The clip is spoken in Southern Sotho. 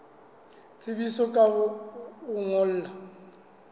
tsebisa ka ho o ngolla